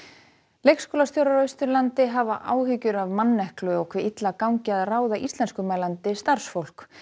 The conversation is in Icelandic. leikskólastjórar á Austurlandi hafa áhyggjur af manneklu og hve illa gagni að ráða íslenskumælandi starfsfólk